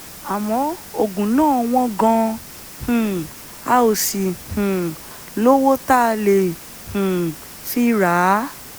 àmọ́ oògùn náà wọ́n gan-an um a ò sì um lówó tá a lè um fi rà á